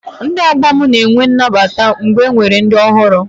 Ndị ọgbọ m na-eme N'nabata mgbe enwere ndị ọhụrụ